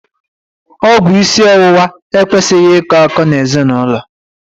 Ọgwụ isi ọwụwa ekwesịghị ị kọ akọ n'ezinaụlọ.